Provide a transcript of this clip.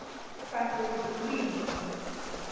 sasezulwini